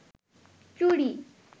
চুড়ি